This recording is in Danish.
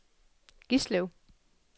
Gislev